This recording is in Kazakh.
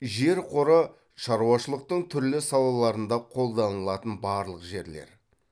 жер қоры шаруашылықтың түрлі салаларында қолданылатын барлық жерлер